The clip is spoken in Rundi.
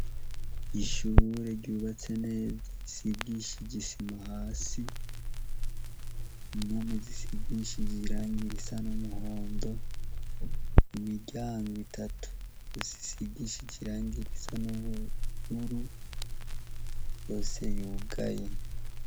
Ishure ryubatse neza zisigishije isima hasi imumi zisigishiji irangira isa n'umuhondo imiryango itatu osisigishije irangira isa n'ubuguru yose yugaye.